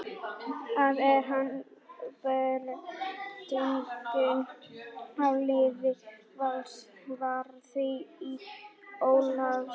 Það er eina breytingin á liði Vals frá því í Ólafsvík.